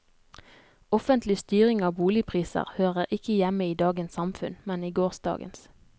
Offentlig styring av boligpriser hører ikke hjemme i dagens samfunn, men i gårsdagens.